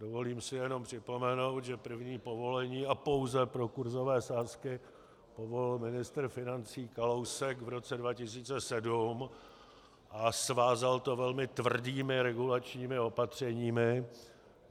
Dovolím si jenom připomenout, že první povolení a pouze pro kurzové sázky povolil ministr financí Kalousek v roce 2007 a svázal to velmi tvrdými regulačními opatřeními.